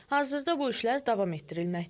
Hazırda bu işlər davam etdirilməkdədir.